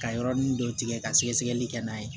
Ka yɔrɔnin dɔ tigɛ ka sɛgɛsɛgɛli kɛ n'a ye